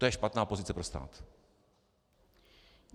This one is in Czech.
To je špatná pozice pro stát.